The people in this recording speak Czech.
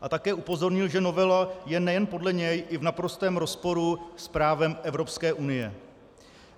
A také upozornil, že novela je nejen podle něj i v naprostém rozporu s právem Evropské unie.